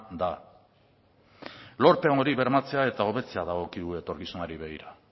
da lorpen hori bermatzea eta hobetzea dagokigu etorkizunari begira